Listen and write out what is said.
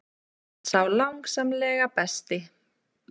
Sá langsamlega besti.